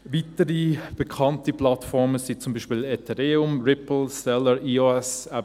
Weitere bekannte Plattformen sind zum Beispiel Ethereum, Ripple, Stellar, EOS.